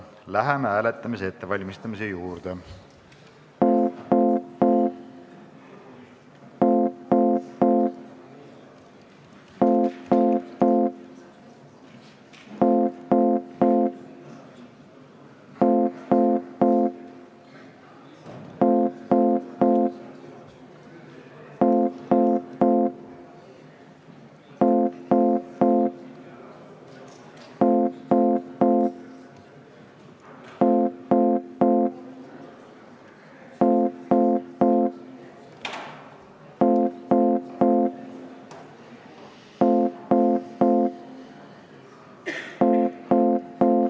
Läheme hääletamise ettevalmistamise juurde.